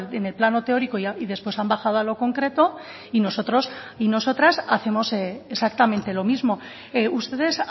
en el plano teórico y después han bajado a lo concreto y nosotros y nosotras hacemos exactamente lo mismo ustedes